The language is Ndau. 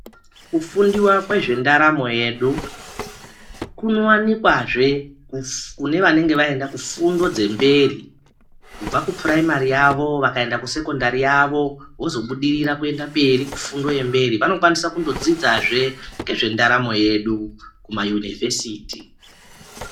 Kufundiwa kwez endaramo yesu kunowanikwazve kune vanenge vaenda kufundo dzemberi kubva ku puraimari yavo vakaenda kusekondari yavo vozobudirira kuenda mberi kufundo yemberi vanokwanisa kundodzidzazve ndezvendaramo yedu kumayunivhesiti.